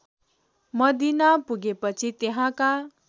Medina पुगेपछि त्यहाँका